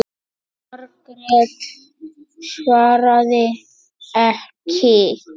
Margrét svaraði ekki.